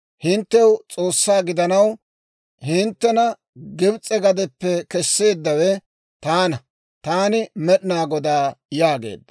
Hinttew S'oossaa gidanaw, hinttena Gibs'e gadiyaappe kesseeddawe taana. Taani Med'inaa Godaa» yaageedda.